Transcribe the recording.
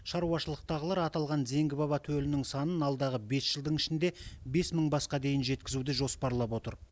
шаруашылықтағылар аталған зеңгі баба төлінің санын алдағы бес жылдың ішінде бес мың басқа дейін жеткізуді жоспарлап отыр